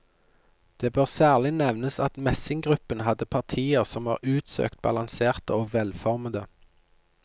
Det bør særlig nevnes at messinggruppen hadde partier som var utsøkt balanserte og velformede.